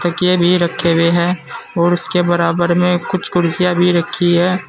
के भी रखे हुए है और उसके बराबर में कुछ कुर्सियां भी रखी है।